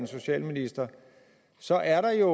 socialministre så er der jo